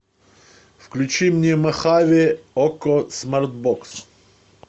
включи мне мохаве окко смарт бокс